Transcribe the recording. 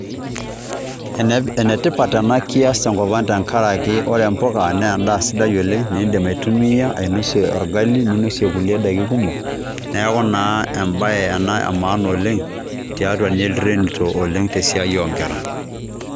Enetipat ena kias tenkop ang' amu ore mpuka naa endaa sidai oleng' niindim aitumia ainosie orgali, ninosie kulie daiki kumok, neeku naa embae ena e maana oleng' tiatua nye ilterinito oleng' te siai o nkera.